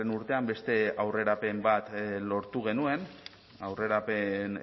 urtean beste aurrerapen bat lortu genuen aurrerapen